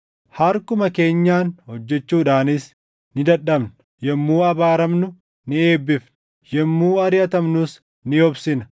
Harkuma keenyaan hojjechuudhaanis ni dadhabna. Yommuu abaaramnu ni eebbifna; yommuu ariʼatamnus ni obsina.